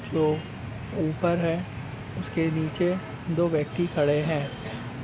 जो ऊपर है उसके नीचे दो व्यक्ति खड़े हैं।